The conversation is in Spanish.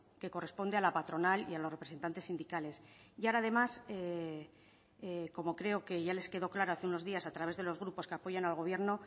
que corresponde a la patronal y a los representantes sindicales y ahora además como creo que ya les quedó claro hace unos días a través de los grupos que apoyan al gobierno